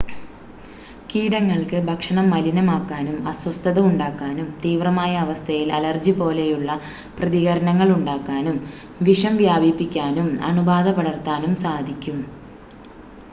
കീടങ്ങൾക്ക് ഭക്ഷണം മലിനമാക്കാനും അസ്വസ്ഥത ഉണ്ടാക്കാനും തീവ്രമായ അവസ്ഥയിൽ അലർജി പോലെയുള്ള പ്രതികരണങ്ങൾ ഉണ്ടാക്കാനും വിഷം വ്യാപിപ്പിക്കാനും അണുബാധ പടർത്താനും സാധിക്കും